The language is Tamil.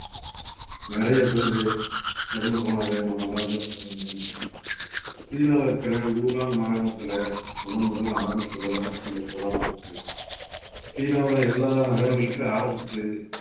நிறைய பேரு இறந்து போனதை நம்ம எல்லாருக்கும் சீனால இருக்கிற ஊஹான் மாகாணத்தில முதன் முதல்ல ஆரம்பிச்சதுதான் இந்த corona தொற்று சீனாவுல எல்லா நகரங்களுக்கும் ஆரம்பிச்சு